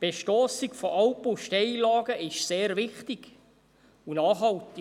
Die Bestossung von Alpen und Steillagen ist sehr wichtig und nachhaltig.